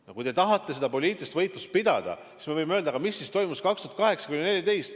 No kui te tahate seda poliitilist võitlust pidada, siis me võime öelda, mis siis toimus aastail 2008–2014.